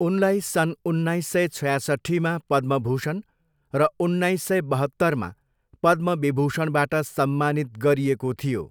उनलाई सन् उन्नाइस सय छ्यासट्ठीमा पद्मभूषण र उन्नाइस सय बहत्तरमा पद्मविभूषणबाट सम्मानित गरिएको थियो।